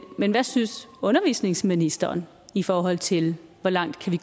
men hvad synes undervisningsministeren i forhold til hvor langt vi